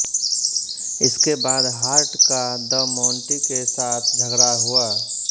इसके बाद हार्ट का द माँन्टी के साथ झगड़ा हुआ